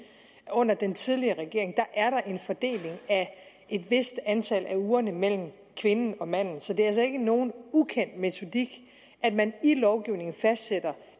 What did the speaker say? under den tidligere regering er der en fordeling af et vist antal af ugerne mellem kvinden og manden så det er altså ikke nogen ukendt metodik at man i lovgivningen fastsætter